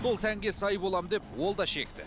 сол сәнге сай боламын деп ол да шекті